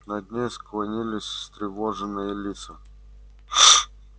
над ней склонились встревоженные лица